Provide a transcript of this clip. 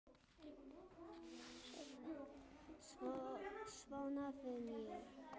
Svona vinn ég.